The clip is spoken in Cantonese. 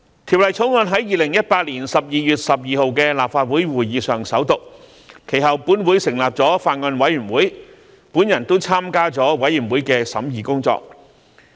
《條例草案》在2018年12月12日的立法會會議上首讀，其後本會成立法案委員會，我亦參加了法案委員會的審議工作。